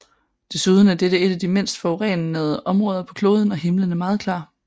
Desuden er dette et af de mindst forurenede områder på kloden og himlen er meget klar